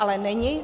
Ale není.